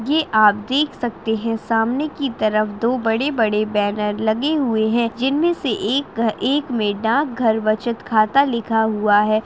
ये आप देख सकते है सामने की तरफ दो बड़े-बड़े बैनर लगे हुए हैं जिनमें से एक घ एक में डाक घर बचत खाता लिखा हुआ है।